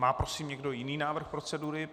Má prosím někdo jiný návrh procedury?